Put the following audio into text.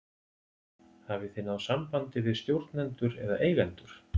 Hafið þið náð sambandi við stjórnendur eða eigendur?